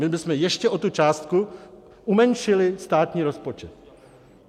My bychom ještě o tu částku umenšili státní rozpočet.